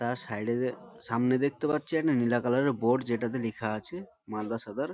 তার সাইড -এ সামনে দেখতে পাচ্ছি একটা নীলা কালার এর বোর্ড । যেটা তে লিখা আছে মালদা সদর।